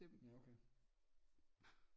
Ja okay